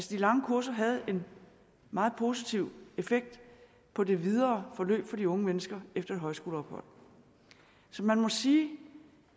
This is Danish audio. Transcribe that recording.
de lange kurser havde en meget positiv effekt på det videre forløb for de unge mennesker efter et højskoleophold så man må sige